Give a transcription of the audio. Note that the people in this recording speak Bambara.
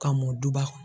Ka mɔ duba kɔnɔ